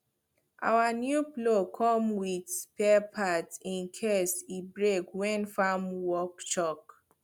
our new plow come with spare parts in case e break when farm work choke